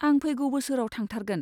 आं फैगौ बोसोराव थांथारगोन।